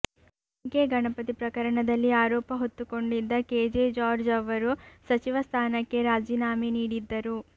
MK Ganapathi ಪ್ರಕರಣದಲ್ಲಿ ಆರೋಪ ಹೊತ್ತುಕೊಂಡಿದ್ದ ಕೆಜೆ ಜಾರ್ಜ್ ಅವರು ಸಚಿವ ಸ್ಥಾನಕ್ಕೆ ರಾಜೀನಾಮೆ ನೀಡಿದ್ದರು